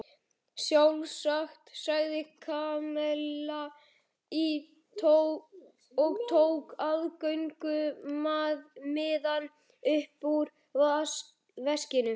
Sjálfsagt sagði Kamilla og tók aðgöngumiðann upp úr veskinu.